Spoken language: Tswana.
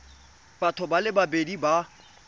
batho ba le babedi ba